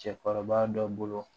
Cɛkɔrɔba dɔ bolo